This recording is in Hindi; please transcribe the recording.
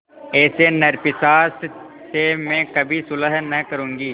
ऐसे नरपिशाच से मैं कभी सुलह न करुँगी